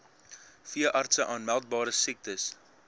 veeartse aanmeldbare siektes